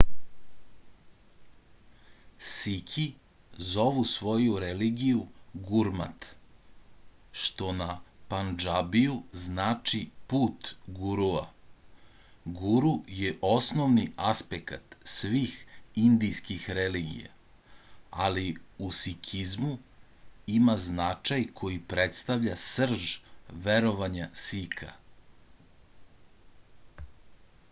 siki zovu svoju religiju gurmat što na pandžabiju znači put gurua guru je osnovni aspekat svih indijskih religija ali u sikizmu ima značaj koji predstavlja srž verovanja sika